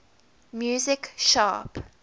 music sharp